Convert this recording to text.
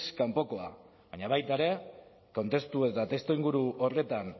kanpokoa baina baita ere kontestu eta testuinguru horretan